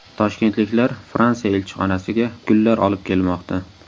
Toshkentliklar Fransiya elchixonasiga gullar olib kelmoqda.